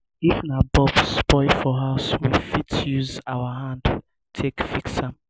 if na bulb spoil for house we fit use our hand take fix am